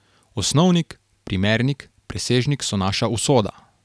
Osnovnik, primernik, presežnik so naša usoda.